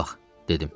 Bura bax, dedim.